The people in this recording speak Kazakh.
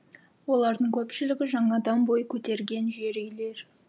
олардың көпшілігі жаңадан бой көтерген жер үйлер